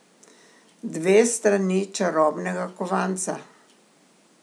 Dve strani čarobnega kovanca.